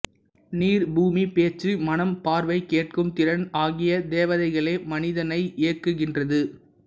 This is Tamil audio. நீர் பூமி பேச்சு மனம் பார்வை கேட்கும் திறன் ஆகிய தேவதைகளே மனிதனை இயக்குகின்றது